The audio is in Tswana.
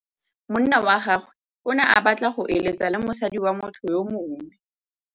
Monna wa gagwe o ne a batla go êlêtsa le mosadi wa motho yo mongwe.